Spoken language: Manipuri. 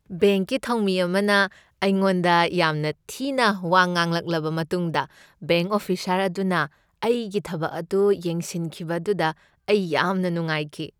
ꯕꯦꯡꯛꯀꯤ ꯊꯧꯃꯤ ꯑꯃꯅ ꯑꯩꯉꯣꯟꯗ ꯌꯥꯝꯅ ꯊꯤꯅ ꯋꯥ ꯉꯥꯡꯂꯛꯂꯕ ꯃꯇꯨꯡꯗ ꯕꯦꯡꯛ ꯑꯣꯐꯤꯁꯔ ꯑꯗꯨꯅ ꯑꯩꯒꯤ ꯊꯕꯛ ꯑꯗꯨ ꯌꯦꯡꯁꯤꯟꯈꯤꯕ ꯑꯗꯨꯗ ꯑꯩ ꯌꯥꯝꯅ ꯅꯨꯡꯉꯥꯏꯈꯤ꯫